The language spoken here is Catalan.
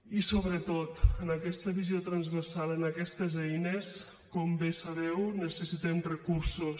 i sobretot en aquesta visió transversal per a aquestes eines com bé sabeu necessitem recursos